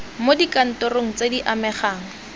mo dikantorong tse di amegang